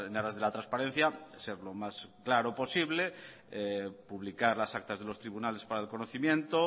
aras de la transparencia ser lo más claro posible publicar las actas de los tribunales para el conocimiento